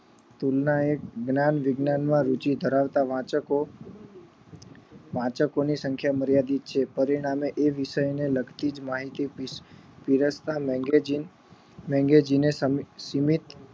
તુલના એ જ્ઞાન વિજ્ઞાન માં જીવ ધરાવતા વાચકો વાચકો ની સંખ્યા માર્યાદિત છે તે એ વિષય ને લગતી જ માહિતી પીરસતા magazine magazine સીમિત